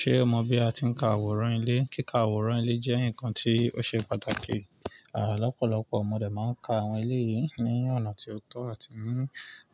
Ṣé o mọ bí a ti ń ka àwòrán ilé? Kíka àwòrán ilé jẹ́ nǹkan tí ó ṣe pàtàkì. À lọ́pọ̀lọpọ̀ mọ̀ dẹ́ má ń ka àwọn ilé yìí ní ọ̀nà tí ó tó àti ní